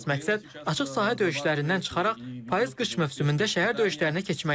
Əsas məqsəd açıq sahə döyüşlərindən çıxaraq payız-qış mövsümündə şəhər döyüşlərinə keçməkdir.